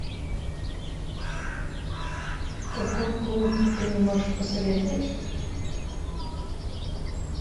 какой клуб ты мне можешь посоветовать